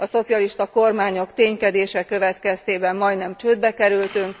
A szocialista kormányok ténykedése következtében majdnem csődbe kerültünk.